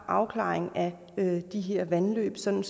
afklaring af de her vandløb sådan